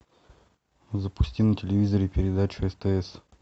запусти на телевизоре передачу стс